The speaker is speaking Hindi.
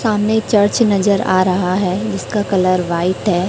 सामने एक चर्च नजर आ रहा है जिसका कलर व्हाइट है।